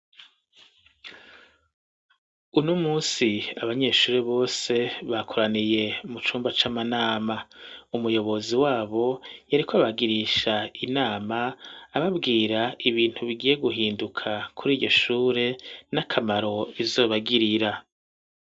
Uni umusi abanyeshure bose bakoraniye mu cumba c'amanama umuyobozi wabo yariko abagirisha inama ababwira ibintu bigiye guhinduka kuri iryo shure n'akamaro izobagirira.